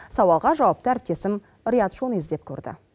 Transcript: сауалға жауапты әріптесім риат шони іздеп көрді